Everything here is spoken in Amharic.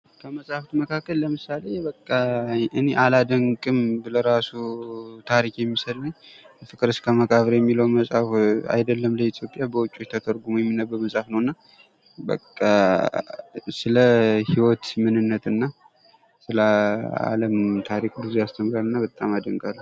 ከመፅሀፍት መካከል ለምሳሌ እኔ አላደንቅም ብል እራሱ ታሪክ የሚሰድበኝ "ፍቅር እስከ መቃብር" የሚለዉ መፅሀፍ አይደለም በኢትዮጵያ በዉጭ ተተርጉሞ የሚነበብ መፅሀፍ ነዉ። እና ስለ ህይወት ምንነት እና ስለ አለም ታሪክ ብዙ ያስተምራል እና በጣም አደንቃለሁ።